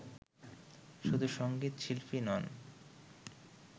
শুধু সঙ্গীত শিল্পীই নন